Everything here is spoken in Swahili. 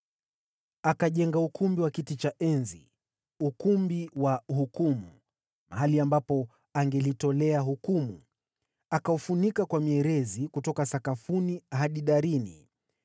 Akajenga ukumbi wa kiti cha enzi, Ukumbi wa Hukumu, mahali ambapo angelitolea hukumu, akaufunika kwa mierezi kutoka sakafuni hadi darini.